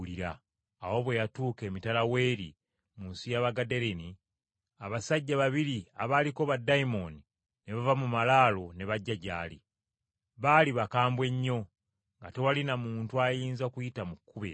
Awo bwe yatuuka emitala w’eri mu nsi y’Abagadaleni, abasajja babiri abaaliko baddayimooni ne bava mu malaalo ne bajja gy’ali. Baali bakambwe nnyo, nga tewali na muntu ayinza kuyita mu kkubo eryo.